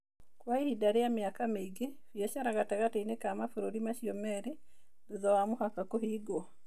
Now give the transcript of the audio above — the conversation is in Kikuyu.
Kwa ihinda rĩa mĩaka mĩingĩ, biacara gatagatĩ-inĩ ka mabũrũri macio merĩ thutha wa mũhaka kũhingwo.